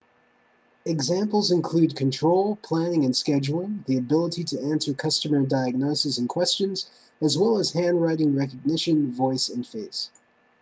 examples include control planning and scheduling the ability to answer customer diagnoses and questions as well as handwriting recognition voice and face